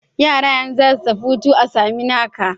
Yara za su tafi hutu a Saminaka.